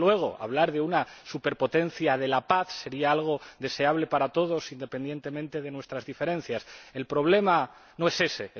Desde luego, hablar de una superpotencia de la paz sería algo deseable para todos, independientemente de nuestras diferencias. El problema no es ese.